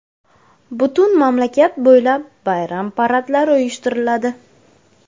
Butun mamlakat bo‘ylab bayram paradlari uyushtiriladi.